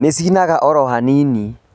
Nĩicinaga oro hanini